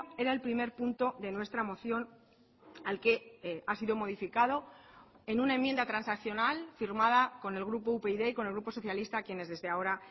era el primer punto de nuestra moción al que ha sido modificado en una enmienda transaccional firmada con el grupo upyd y con el grupo socialista a quienes desde ahora